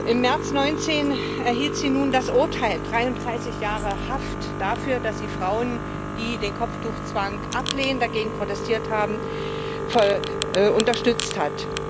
Im März 2019 erhielt sie nun das Urteil 33 Jahre Haft dafür, dass sie Frauen, die den Kopftuchzwang ablehnen und dagegen protestiert haben, unterstützt hat.